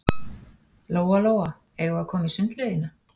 Lóa-Lóa, eigum við að koma í sundlaugina?